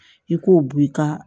I k'o bɔ i ka